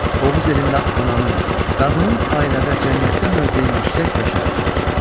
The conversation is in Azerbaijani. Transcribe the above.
Oğuz elində ananın, qadının ailədə, cəmiyyətdə mövqeyi yüksək və şərəflidir.